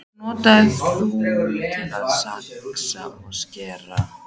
Hann notar þú til að saxa og skera.